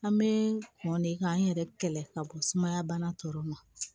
An bɛ mɔn de k'an yɛrɛ kɛlɛ ka bɔ sumaya bana tɔw ma